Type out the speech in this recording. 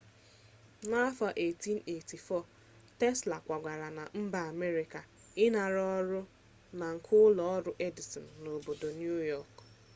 n'afọ 1884 tesla kwagara na mba amerịka ịnara ọrụ na nke ụlọ ọrụ edison n'obodo niu yọk